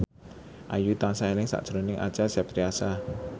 Ayu tansah eling sakjroning Acha Septriasa